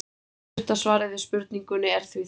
stutta svarið við spurningunni er því þetta